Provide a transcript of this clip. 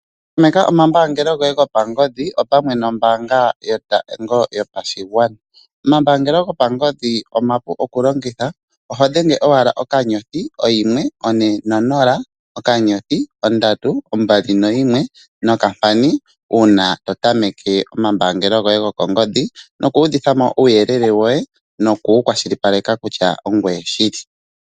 Tameka omambaangelo goye gopangodhi opamwe nombaanga yotango yopashigwana. Omambaangelo gopangodhi omapu oku longitha, oho dhenge owala *140*321#, uuna to tameke omambaangelo goye gokongodhi noku udhitha mo uuyelele woye noku wu kwashilipaleka kutya ongoye shili.